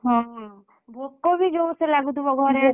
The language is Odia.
ହଁ। ଭୋକ ବି ଯୋର୍‌ ସେ ଲାଗୁଥିବ ଘରେ ଆସି ପହଞ୍ଚିଲା ବେଳକୁ।